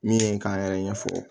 Min ye k'an yɛrɛ ɲɛfɔ